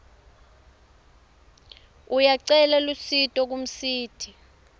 uyacela lusito kumsiti